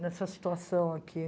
nessa situação aqui.